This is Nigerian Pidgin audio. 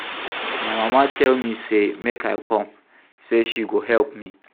My mama tell me say make I come say she go help me